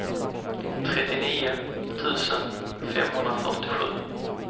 trettionio tusen femhundrafyrtiosju